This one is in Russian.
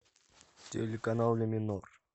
телеканал ля минор